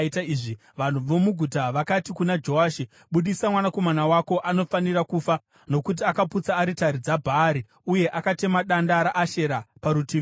Vanhu vomuguta vakati kuna Joashi, “Budisa mwanakomana wako. Anofanira kufa, nokuti akaputsa aritari dzaBhaari uye akatema danda raAshera parutivi payo.”